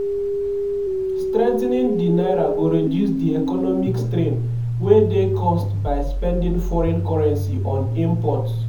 strengthening di naira go reduce di economic strain wey dey caused by spending foreign currency on imports.